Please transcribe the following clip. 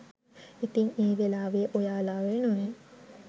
ඉතින් ඒ වෙලාවේ ඔයාලා වෙනුවෙන්